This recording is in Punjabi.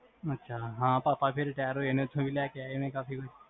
ਅਛਾ ਹਾਂ ਪਾਪਾ ਫੇਰ retire ਹੋਏ ਨੇ, ਓਥੇ ਵੀ ਲੈ ਕੇ ਆਏ ਹੋਣੇ ਕਾਫੀ